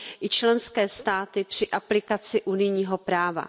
i členské státy při aplikaci unijního práva.